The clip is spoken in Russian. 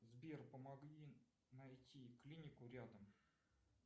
сбер помоги найти клинику рядом